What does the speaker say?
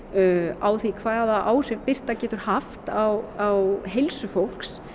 á því hvaða áhrif birta getur haft á heilsu fólks